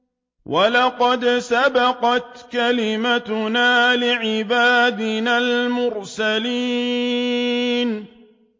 وَلَقَدْ سَبَقَتْ كَلِمَتُنَا لِعِبَادِنَا الْمُرْسَلِينَ